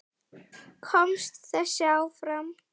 Komst þessi áfram?